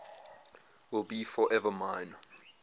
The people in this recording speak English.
will be forever mine